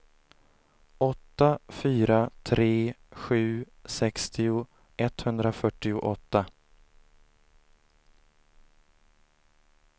åtta fyra tre sju sextio etthundrafyrtioåtta